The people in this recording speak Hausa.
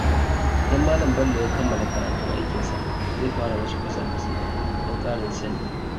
Idan Malam Bello ya kammala karatun aikinsa, zai fara wasu kwasa-kwasai don ƙarin sani.